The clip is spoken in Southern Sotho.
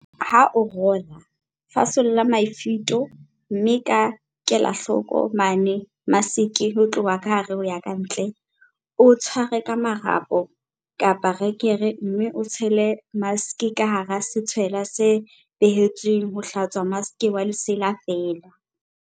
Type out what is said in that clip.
Ha o rola, fasolla mafito, mme ka kelahloko, mena maske ho tloha ka hare ho ya kantle, o tshware ka marapo, rekere mme o tshele maske ka hara setshwelwa se behetsweng ho hlatswa maske wa lesela feela.8.